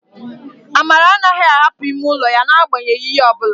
Amara anaghị ahapụ ime ụlọ ya n'agbanyeghị ihe ọ bụla